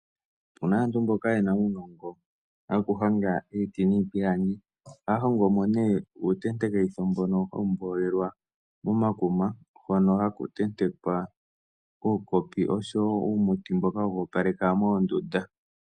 Opu na aantu mboka ye na uunongo wokuhonga iiti niipilangi. Ohaya hongo mo nee uutentekitho mbono hawu mboolelwa momakuma, hono haku tentekwa uukopi osho wo uumuti mboka woku opaleka moondunda.